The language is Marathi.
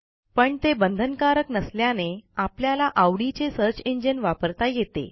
पण ते बंधनकारक नसल्याने आपल्याला आवडीचे सर्च इंजिन वापरता येते